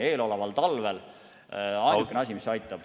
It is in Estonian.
Eeloleval talvel on ainukene asi, mis aitab ...